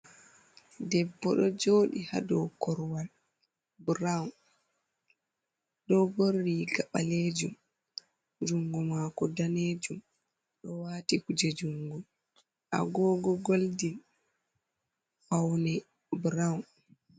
Debbo ɗou Jodi hadou Korwal Brown, Ɗo ɓorni Riga Ɓalejum, Jungo Mako Danejum, Ɗo wati kuje Jungo Agogo Golden, Faune Brown.